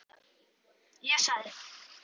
Ég sagði: Ha?